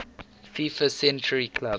fifa century club